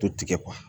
To tigɛ